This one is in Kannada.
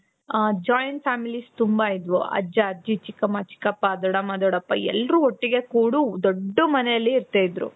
Joint families ತುಂಬಾ ಇದ್ವು ಅಜ್ಜ, ಅಜ್ಜಿ ,ಚಿಕ್ಕಮ್ಮ, ಚಿಕ್ಕಪ್ಪ, ದೊಡ್ಡಮ್ಮ, ದೊಡ್ಡಪ್ಪ, ಎಲ್ಲರೂ ಒಟ್ಟಿಗೆ ಕೂರು ದೊಡ್ದು ಮನೆಲ್ ಇರ್ತಾ ಇದ್ರು.